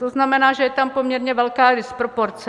To znamená, že je tam poměrně velká disproporce.